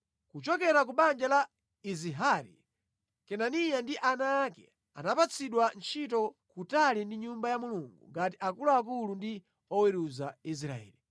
Kuchokera ku banja la Izihari: Kenaniya ndi ana ake anapatsidwa ntchito kutali ndi Nyumba ya Mulungu ngati akuluakulu ndi oweruza Israeli.